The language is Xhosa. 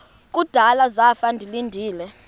kudala zafa ndilinde